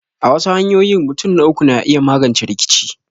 A wasu hanyoyin, mutun na uku na iya magance rikice.